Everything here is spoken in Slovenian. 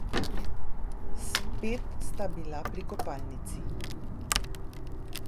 Spet sta bila pri kopalnici.